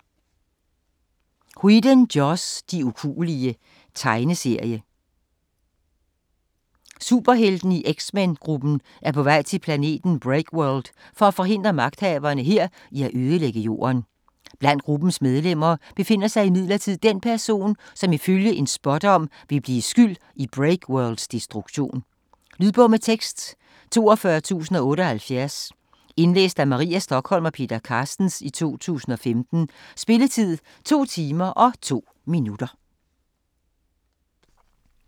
Whedon, Joss: De ukuelige Tegneserie. Superheltene i X-men-gruppen er på vej til planeten Breakworld for at forhindre magthaverne her i at ødelægge Jorden. Blandt gruppens medlemmer befinder sig imidlertid den person, som ifølge en spådom vil blive skyld i Breakworlds destruktion. Lydbog med tekst 42078 Indlæst af Maria Stokholm og Peter Carstens, 2015. Spilletid: 2 timer, 2 minutter.